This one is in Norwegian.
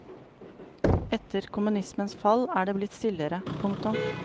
Etter kommunismens fall er det blitt stillere. punktum